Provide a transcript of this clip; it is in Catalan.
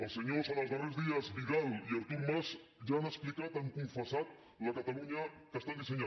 els senyors en els darrers dies vidal i artur mas ja han explicat han confessat la catalunya que estan dissenyant